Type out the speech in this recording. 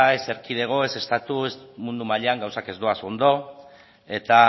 ez erkidego ez estatu ez mundu mailan gauzak ez doaz ondo eta